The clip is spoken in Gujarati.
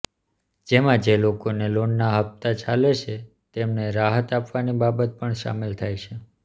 જેમાં જે લોકોને લોનના હપ્તા ચાલે છે તેમને રાહત આપવાની બાબત પણ સામેલ થાય છે